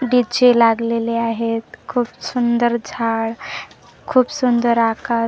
लिचे लागलेले आहेत खूप सुंदर झाड खूप सुंदर आकार.